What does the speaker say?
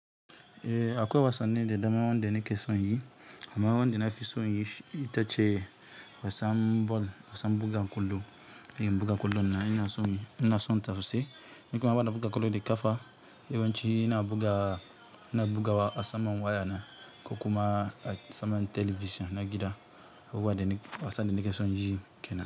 Eh, akwai wasanni da dama wanda ne ke so yi. Amma wanda nafi son inyi itace wasan ball wasan buga ƙwallo eh in buga ƙwallo nan ina so, ina son ta sossai, eh kuma ban nm buga ƙwallo da ƙafa, yawanci ina buga bugawa a saman waya na ko kuma a saman talabijin na gida. Abubuwa da wasa da nake so yi ke nan.